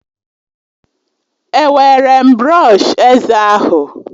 Ewere m brọsh eze ahụ